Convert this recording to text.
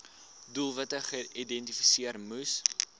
doelwitte geïdentifiseer moes